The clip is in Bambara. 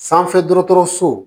Sanfɛ dɔgɔtɔrɔso